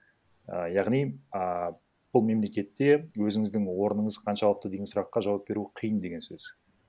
і яғни ааа бұл мемлекетте өзіңіздің орныңыз қаншалықты деген сұраққа жауап беру қиын деген сөз